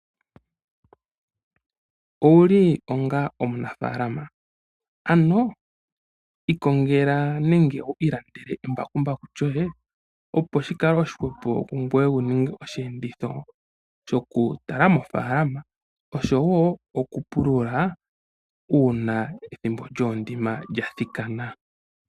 Owuli onga omunafaalama? Ano ikongela nenge ilandela embakumbaku lyoye opo shikale oshihwepo kungoye wuninge oshiyenditho shokukala moofaalama oshowoo okupulula pethimbo lyoondima ngele lyathikana.